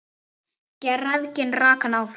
Græðgin rak hann áfram.